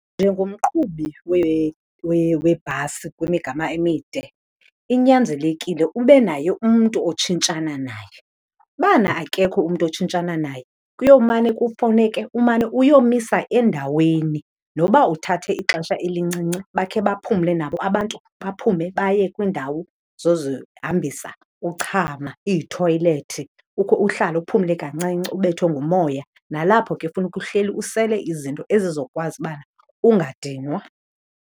Njengomqhubi webhasi kwimigama emide inyanzelekile ube naye umntu otshintshana naye. Ubana akekho umntu otshintshana naye kuyomane kufuneke umane uyomisa endaweni noba uthathe ixesha elincinci bakhe baphumle nabo abantu baphume baye kwiindawo zozihambisa, uchama, iithoyilethi, ukhe uhlale uphumle kancinci ubethwe ngumoya. Nalapho ke funeka uhleli usele izinto ezizokwazi uba ungadinwa.